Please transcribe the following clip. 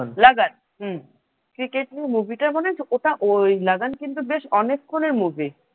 লাগান হম ক্রিকেট নিয়ে movie টা মনে আছে? লাগান কিন্তু বেশ অনেকক্ষণ এর movie ।